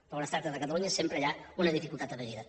però quan es tracta de catalunya sempre hi ha una dificultat afegida